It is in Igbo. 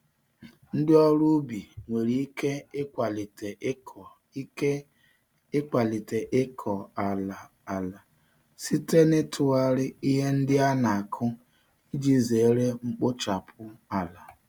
Ndị ọrụ ubi nwere ike ịkwalite ịkọ ike ịkwalite ịkọ ala ala site n'ịtụgharị ihe ndị an-akụ iji zere mkpochapụ ala.